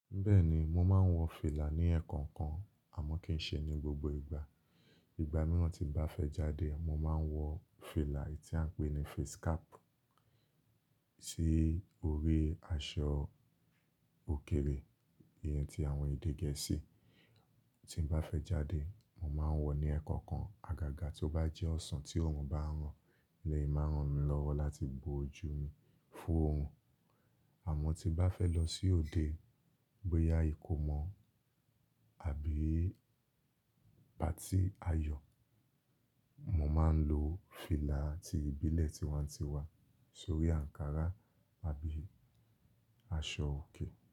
Bẹ́ẹ̀ni, mo máa ń wọ fìlà ní ẹ̀ẹ̀kọ̀kan àmọ́ kì í ṣe ní gbogbo ìgbà. Ìgbà mìíràn tí bá fẹ́ jáde, mo máa ń wọ fìlà tí à ń pè ní face cap sí orí aṣọ òkèrè, ìyẹn tí àwọn èdè gẹ̀ẹ́sì. Tí bá fẹ́ jáde, mo máa ń wọ ní ẹ̀ẹ̀kọ̀kan. Agaga tó bá jẹ́ ọ̀sán tí òòrùn bá ń ràn, eleyii máa ń ràn mí lọ́wọ́ láti bo ojú mi fún òòrùn. Àmọ́ tí bá fẹ́ lọ sí òde, bóyá ìkómọ àbí patí ayọ̀, mo máa ń lo fìlà ti ìbílẹ̀ tí wọ́n ti wà sórí ankara àbí aṣọ òkè.